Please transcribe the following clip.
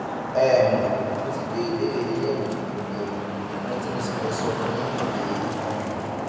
um mo ti gbé ìbéèrè yín yẹwò yẹwò ohun tí mo sì fẹ sọ fún yín rèé um